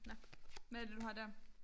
Nåh hvad er det du har dér?